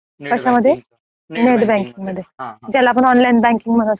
कशा मध्ये net banking मध्ये काय. ज्याला आपण ओंलीने बँकिंग म्हणत असतो